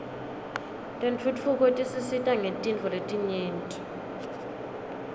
tentfutfuko tisisita ngetintfo letinyenti